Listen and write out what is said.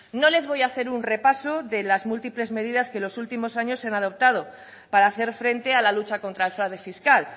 no les voy a hacer un repaso de las múltiples medidas que en los últimos años se han adoptado para hacer frente a la lucha contra el fraude fiscal